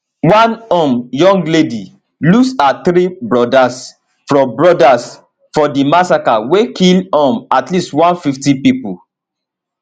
one um young lady lose her three brodas for brodas for di massacre wey kill um at least 150 pipo